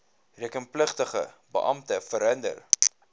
rekenpligtige beampte verhinder